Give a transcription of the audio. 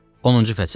Onuncu fəsil.